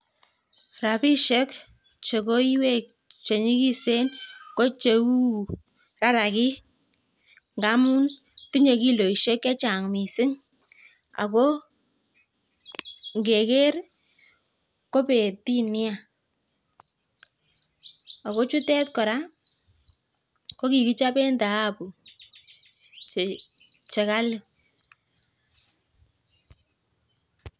Rabishek che koiywek che nyigisen ko cheu rarakik ngamun tinye kiloishek chechang mising, ago ingeker kobetin nya. Aga chutet kora ko kigichopen tahabu che kali.